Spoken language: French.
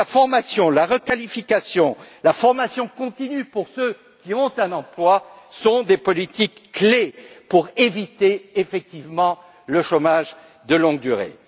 Donc, la formation, la requalification, la formation continue pour ceux qui ont un emploi sont des politiques clés pour éviter, effectivement, le chômage de longue durée.